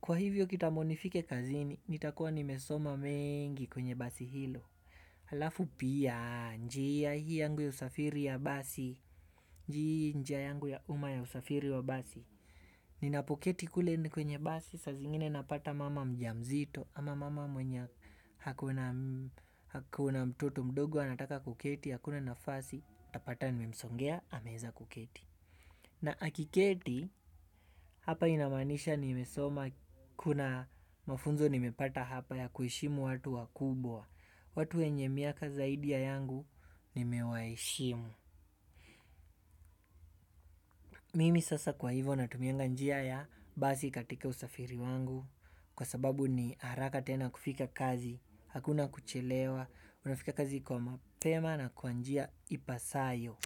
Kwa hivyo kitambo nifike kazini nitakuwa nimesoma mengi kwenye basi hilo halafu pia njia hii yangu ya usafiri ya basi njia yangu ya uma ya usafiri wa basi. Ninapoketi kule ni kwenye basi saa zingine napata mama mjamzito ama mama mwenye ako na mtoto mdogo anataka kuketi, hakuna nafasi, utapata nimemsongea, ameweza kuketi. Na akiketi, hapa inamaanisha nimesoma kuna mafunzo nimepata hapa ya kuheshimu watu wakubwa. Watu wenye miaka zaidi ya yangu, nimewaheshimu. Mimi sasa kwa hivyo natumianga njia ya basi katika usafiri wangu. Kwa sababu ni haraka tena kufika kazi, hakuna kuchelewa, unafika kazi kwa mapema na kwa njia ipasavyo.